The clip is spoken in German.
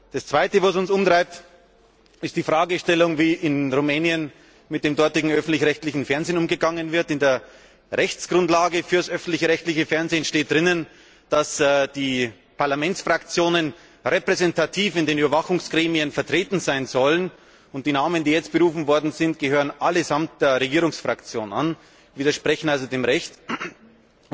Das Zweite, das uns umtreibt, ist die Fragestellung, wie in Rumänien mit dem dortigen öffentlich rechtlichen Fernsehen umgegangen wird. In der Rechtsgrundlage für das öffentlich rechtliche Fernsehen steht, dass die Parlamentsfraktionen repräsentativ in den Überwachungsgremien vertreten sein sollen, und die Personen, die jetzt berufen worden sind, gehören allesamt der Regierungsfraktion an, was also dem Recht widerspricht.